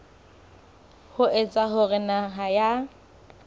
ho etsa hore naha ya